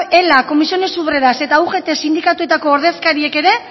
lab ela ccoo eta ugt sindikatuetako ordezkariek ere